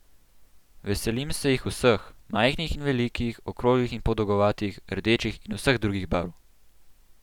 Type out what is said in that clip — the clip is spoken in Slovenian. Veselim se jih vseh, majhnih in velikih, okroglih in podolgovatih, rdečih in vseh drugih barv!